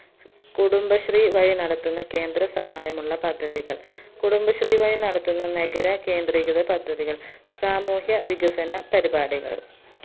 കുടുബശ്രീ വഴി നടത്തുന്ന കേന്ദ്ര സഹായമുള്ള പദ്ധതികൾ കുടുബശ്രീ വഴി നടത്തുന്ന നഗര കേന്ത്രീകൃത പദ്ധതികൾ സാമൂഹ്യ വികസന പരിപാടികൾ